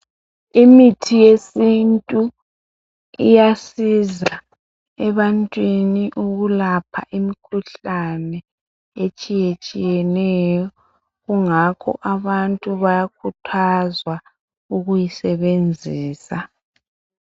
Imithi yesintu iyasiza ebantwini ukulapha imikhuhlane etshiytshieneyo . Kungako abantu bayakhuthazwa ukuyi beyisenzise.